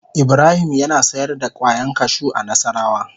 Ibrahim yana sayar da kwayan kashu a nassarawa.